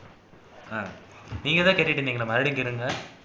ஹம் நீங்கதான் கேட்டுட்டு இருந்தீங்க மறுபடியும் கேளுங்க